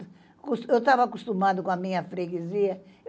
Eu estava acostumada com a minha freguesia.